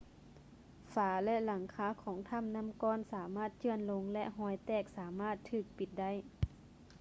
ຝາ ແລະ ຫລັງຄາຂອງຖໍ້ານໍ້າກ້ອນສາມາດເຈື່ອນລົງ ແລະ ຮອຍແຕກສາມາດຖືກປິດໄດ້